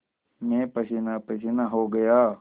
मैं पसीनापसीना हो गया